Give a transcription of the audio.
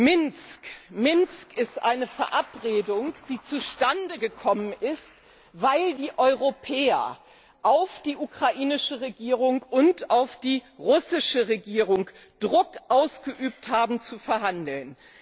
Minsk, Minsk ist eine Verabredung die zustande gekommen ist, weil die Europäer auf die ukrainische Regierung und auf die russische Regierung Druck ausgeübt haben, zu verhandeln.